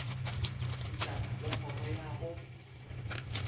setšhaba le kgoro ya go